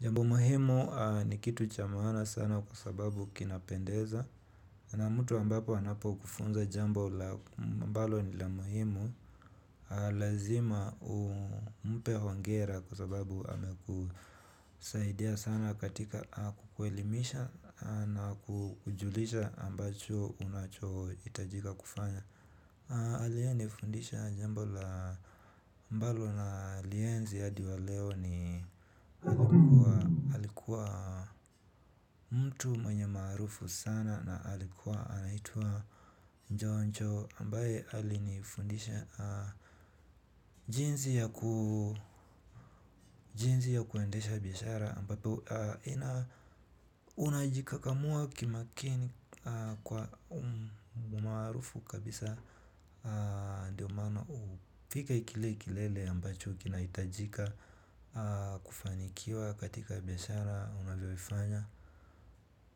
Jambo muhimu ni kitu cha maana sana kwa sababu kinapendeza na mtu ambapo anapokufunza jambo ambalo ni la muhimu. Lazima umpe hongera kwa sababu amekusaidia sana katika kukuelimisha na kukujulisha ambacho unachohitajika kufanya. Aliyenifundisha jambo la ambalo nalienzi hadi wa leo ni alikuwa mtu mwenye maarufu sana na alikuwa anaitwa njonjo ambaye alinifundisha jinsi ya kuendesha biashara ambapo unajikakamua kimakini kwa umaarufu kabisa. Ndiyo maana ufike kile kilele ambacho kinahitajika kufanikiwa katika biashara unavyoifanya.